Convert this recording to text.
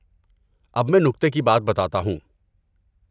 اب میں نکتے کی بات بتاتا ہوں۔